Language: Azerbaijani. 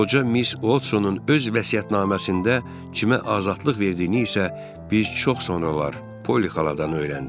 Qoca Miss Odsonun öz vəsiyyətnaməsində cimə azadlıq verdiyini isə biz çox sonralar Poli xaladan öyrəndik.